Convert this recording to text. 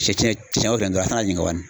Sɛ tiɲɛ cɛcɛ o kɛ n dɔrɔn a' kan'a ɲininka bani